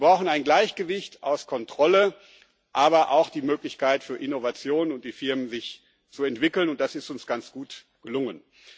Wir brauchen ein Gleichgewicht aus Kontrolle, aber auch der Möglichkeit für Innovation und die Firmen, sich zu entwickeln, und das ist uns ganz gut gelungen.